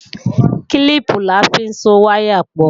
Kílíìpù la fi ń so wáyà pọ̀